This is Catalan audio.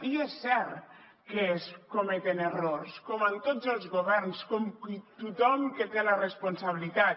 i és cert que es cometen errors com en tots els governs com tothom que té la responsabilitat